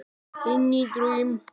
Inní draum.